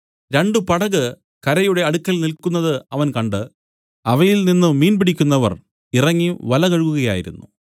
രണ്ടു പടക് കരയുടെ അടുത്തു നില്ക്കുന്നതു അവൻ കണ്ട് അവയിൽ നിന്നു മീൻ പിടിക്കുന്നവർ ഇറങ്ങി വല കഴുകുകയായിരുന്നു